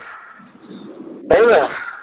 তাই না?